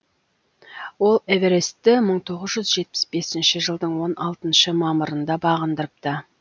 ол эверестті мың тоғыз жүз жетпіс бесінші жылдың он алтыншы мамырында бағындырыпты